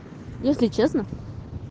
если честно